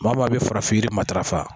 Maa o maa bɛ farafin yiri matarafa